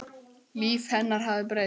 Líf hennar hafði breyst.